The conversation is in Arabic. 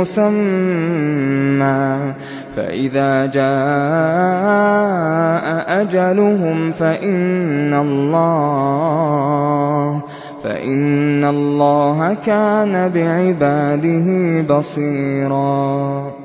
مُّسَمًّى ۖ فَإِذَا جَاءَ أَجَلُهُمْ فَإِنَّ اللَّهَ كَانَ بِعِبَادِهِ بَصِيرًا